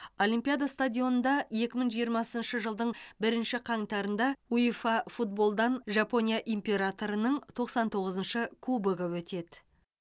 олимпиада стадионында екі мың жиырмасыншы жылдың бірінші қаңтарында уэфа футболдан жапония императорының тоқсан тоғызыншы кубогы өтеді